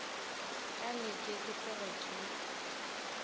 ka leke ke tloge ke